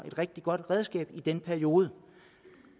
et rigtig godt redskab i den periode